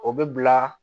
O bɛ bila